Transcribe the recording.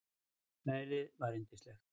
Veðrið var yndislegt.